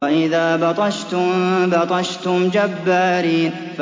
وَإِذَا بَطَشْتُم بَطَشْتُمْ جَبَّارِينَ